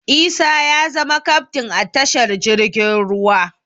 Isa ya zama kaftin a tashar jirgin ruwa